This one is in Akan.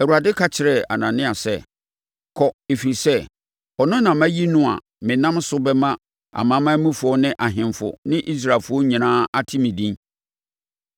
Awurade ka kyerɛɛ Anania sɛ, “Kɔ! Ɛfiri sɛ, ɔno na mayi no a menam ne so bɛma amanamanmufoɔ ne ahemfo ne Israelfoɔ nyinaa ate me din.